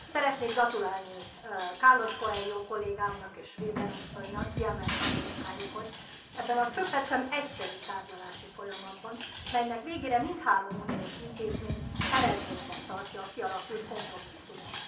Szeretnék gratulálni Carlos Coelho kollégámnak és Weber asszonynak kiemelkedő munkájukhoz ebben a csöppet sem egyszerű tárgyalási folyamatban, melynek végére mindhárom uniós intézmény eredménynek tartja a kialakult kompromisszumot.